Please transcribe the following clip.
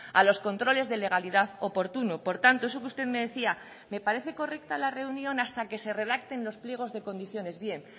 a los controles de legalidad oportunos por tanto eso que usted me decía de me parece correcta la reunión hasta que se redacten los pliegos de condiciones bien